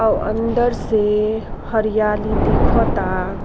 अ अंदर से हरयाली दिखाता।